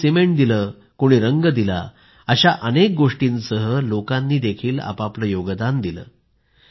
कुणी सिमेंट दिलं तर कुणी रंग दिला अशा अनेक गोष्टींसह लोकांनी आपापलं योगदान दिल